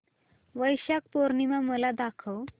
वैशाख पूर्णिमा मला दाखव